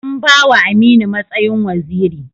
An ba wa Aminu matsayin waziri.